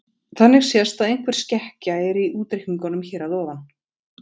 Þannig sést að einhver skekkja er í útreikningunum hér að ofan.